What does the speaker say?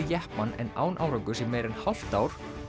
jeppann en án árangurs í meira en hálft ár